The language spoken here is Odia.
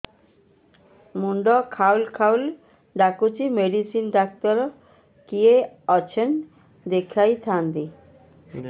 ମୁଣ୍ଡ ଖାଉଲ୍ ଖାଉଲ୍ ଡାକୁଚି ମେଡିସିନ ଡାକ୍ତର କିଏ ଅଛନ୍ ଦେଖେଇ ଥାନ୍ତି